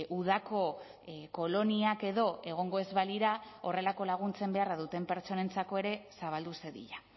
udako koloniak edo egongo ez balira horrelako laguntzen beharra duten pertsonentzako ere zabaldu zedila